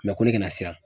ko ne kana siran